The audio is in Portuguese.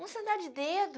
Uma sandália de dedo.